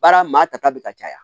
Baara maa ta ta bɛ ka caya